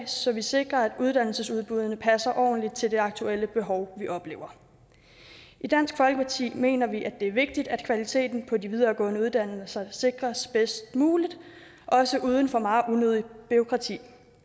så sikrer at uddannelsesudbuddene passer ordentligt til det aktuelle behov vi oplever i dansk folkeparti mener vi at det er vigtigt at kvaliteten på de videregående uddannelser sikres bedst muligt også uden for meget unødigt bureaukrati